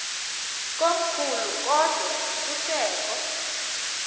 komkhulu kodwa kusekho